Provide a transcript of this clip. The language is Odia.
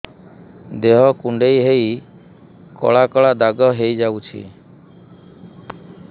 ଦେହ କୁଣ୍ଡେଇ ହେଇ କଳା କଳା ଦାଗ ହେଇଯାଉଛି